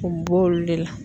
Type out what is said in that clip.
U bi b'olu de la.